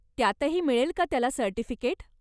त्यातही मिळेल का त्याला सर्टिफिकेट?